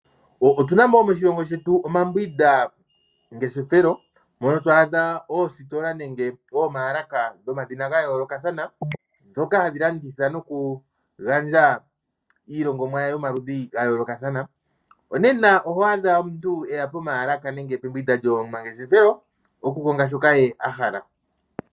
Moshilongo shetu otunamo omambwinda ngeshefelo mono to adha oositola nenge oomaalaka dhomadhina ga yoolokathana ndhoka hadhi landitha noku gandja iilongomwa yomaludhi ga yoolokathana. Oho adha omuntu eli pomaalaka nenge pembwinda lyomangeshefelo oku konga shoka ye ahala.